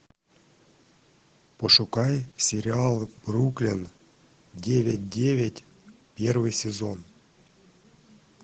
пошукай сериал бруклин девять девять первый сезон